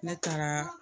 Ne taara